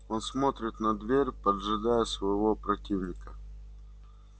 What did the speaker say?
он смотрит на дверь поджидая своего противника